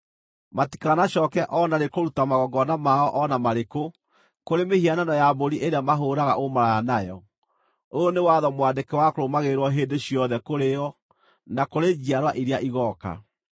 Matikanacooke o na rĩ kũruta magongona mao o na marĩkũ kũrĩ mĩhianano ya mbũri ĩrĩa mahũũraga ũmaraya nayo. Ũyũ nĩ watho mwandĩke wa kũrũmagĩrĩrwo hĩndĩ ciothe kũrĩ o, na kũrĩ njiarwa iria igooka.’